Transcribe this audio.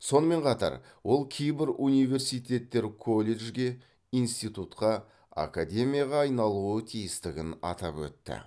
сонымен қатар ол кейбір университеттер колледжге институтқа академияға айналуы тиістігін атап өтті